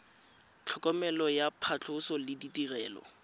tlhokomelo ya phatlhoso le ditirelo